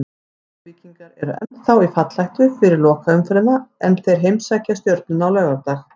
Ólafsvíkingar eru ennþá í fallhættu fyrir lokaumferðina en þeir heimsækja Stjörnuna á laugardag.